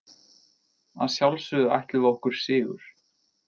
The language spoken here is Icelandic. Að sjálfsögðu ætluðum við okkur sigur